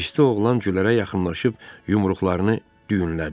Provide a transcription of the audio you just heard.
Hirsdə oğlan Gülərə yaxınlaşıb yumruqlarını düyünlədi.